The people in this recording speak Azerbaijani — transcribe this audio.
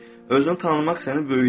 Özünü tanımaq səni böyüdər.